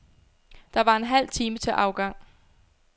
Der var en halv time til afgang.